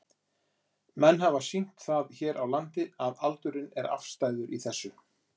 Menn hafa vel sýnt það hér á landi að aldurinn er afstæður í þessu?